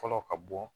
Fɔlɔ ka bɔ